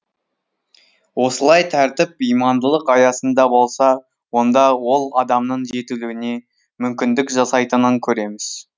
осылай тәртіп имандылық аясында болса онда ол адамның жетілуіне мүмкіндік жасайтынын көреміз